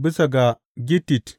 Bisa ga gittit.